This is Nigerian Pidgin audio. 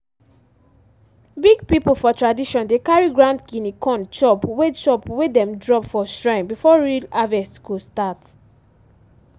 big people for tradition dey carry ground guinea corn chop wey chop wey dem drop for shrine before real harvest go start.